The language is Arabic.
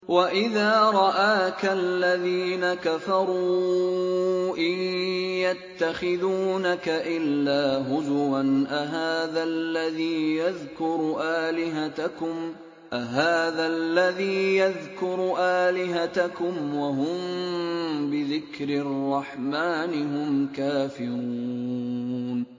وَإِذَا رَآكَ الَّذِينَ كَفَرُوا إِن يَتَّخِذُونَكَ إِلَّا هُزُوًا أَهَٰذَا الَّذِي يَذْكُرُ آلِهَتَكُمْ وَهُم بِذِكْرِ الرَّحْمَٰنِ هُمْ كَافِرُونَ